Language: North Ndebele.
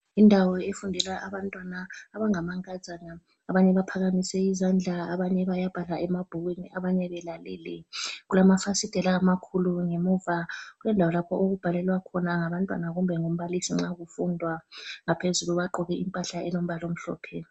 Indawo efundelwa abantwana abangamankazana abanye baphakimise izandla, abanye bayabhala emabhukwini abanye belalele, kulamafasitela amakhulu ngemuva kwendawo lapho okubhalelwa khona ngabantwana kumbe ngumbalisi nxa kufundwa. Ngaphezulu bagqoke impahla elombala omhlophe.